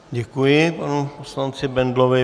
Děkuji panu poslanci Bendlovi.